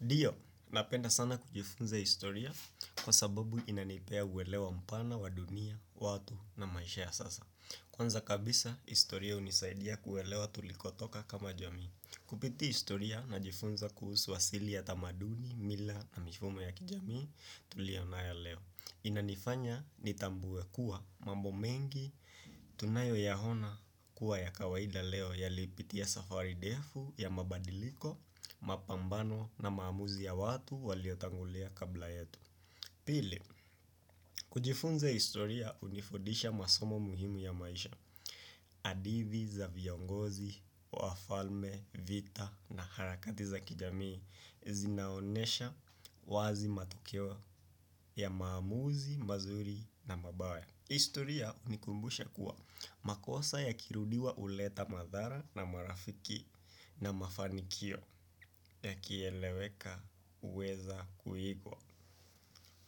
Dio, napenda sana kujifunza historia kwasababu inanipea uelewa mpana wa dunia, watu na maisha ya sasa. Kwanza kabisa, historia hunisaidia kuelewa tulikotoka kama jamii. Kupitia historia, najifunza kuhusu asili ya tamaduni, mila na mifumo ya kijamii tuliyo nayo leo. Inanifanya nitambue kuwa mambo mengi tunayoyaona kuwa ya kawaida leo yalipitia safari ndefu ya mabadiliko, mapambano na maamuzi ya watu waliotangulia kabla yetu. Pili, kujifunza historia hunifudisha masomo muhimu ya maisha. Hadithi za viongozi, wafalme, vita na harakati za kijamii zinaonesha wazi matokeo ya maamuzi mazuri na mabaya. Historia hunikumbusha kuwa makosa yakirudiwa huleta madhara na marafiki na mafanikio yakieleweka huweza kuigwa.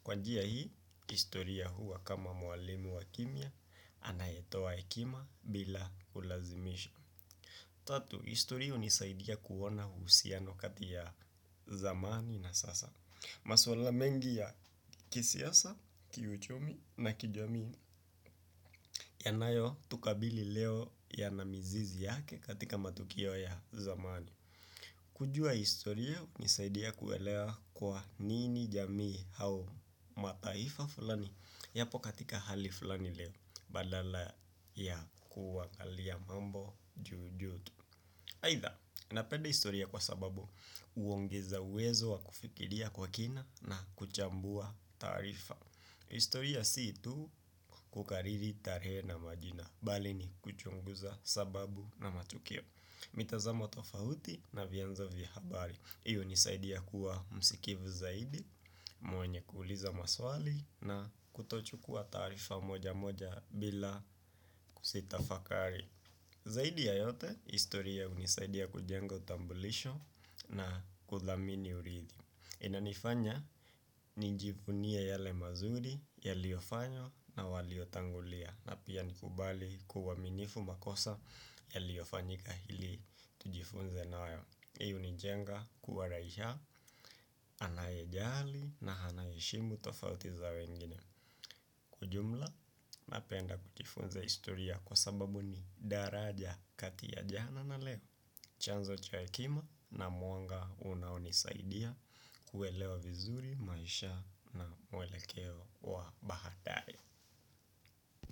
Kwa njia hii, historia huwa kama mwalimu wa kimya anayetoa hekima bila kulazimisha. Tatu, historia hunisaidia kuona uhusiano kati ya zamani na sasa. Maswala mengi ya kisiasa, kiuchumi na kijamii yanayotukabili leo yana mizizi yake katika matukio ya zamani. Kujua historia hunisaidia kuelea kwa nini jamii au mataifa fulani yapo katika hali fulani leo badala ya kuangalia mambo juu juu tu. Aidha napenda historia kwa sababu huongeza uwezo wa kufikiria kwa kina na kuchambua taarifa. Historia si tu kukariri tarehe na majina, bali ni kuchunguza sababu na matukio. Mitazamo tofauti na vyanzo vya habari. Hii hunisaidia kuwa msikivu zaidi, mwenye kuuliza maswali na kutochukua taarifa moja moja bila kuzitafakari. Zaidi ya yote, historia hunisaidia kujenga utambulisho na kuthamini uridhi. Inanifanya nijivunie yale mazuri yaliyofanywa na waliotangulia na pia nikubali kuwaminifu makosa yaliyofanyika ili tujifunze nayo. Hii hunijenga kuwa raia anayejali na anaheshimu tofauti za wengine. Kwa ujumla, napenda kujifunza historia kwa sababu ni daraja kati ya jana na leo. Chanzo cha hekima na mwanga unaonisaidia kuelewa vizuri maisha na mwelekeo wa baadaye.